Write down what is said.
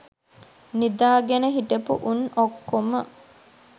නිදා ගෙන හිටපු උන් ඔක්කොම